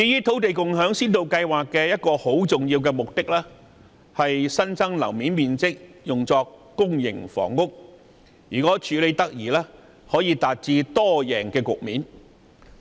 土地共享先導計劃的一個重要目的，是把新增樓面面積用作興建公營房屋。如果處理得宜，將可達致"多贏"。